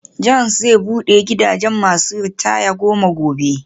John's zai bude gidajen masu ritaya goma gobe.